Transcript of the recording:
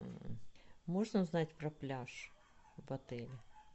можно узнать про пляж в отеле